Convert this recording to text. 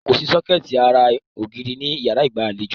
Kòsí sọ́kẹ̀tì ara ògiri ní ìyárá ìgbàlejò.